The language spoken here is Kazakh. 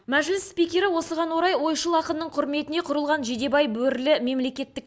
мәжіліс спикері осыған орай ойшыл ақынның құрметіне құрылған жидебай бөрілі мемлекеттік